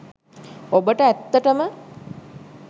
ඔබට ඇත්තටම